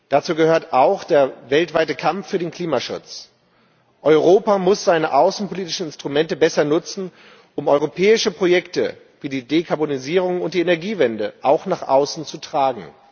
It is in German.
Dazu gehört auch der weltweite Kampf für den Klimaschutz. Europa muss seine außenpolitischen Instrumente besser nutzen, um europäische Projekte wie die Dekarbonisierung und die Energiewende auch nach außen zu tragen.